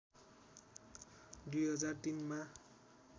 २००३ मा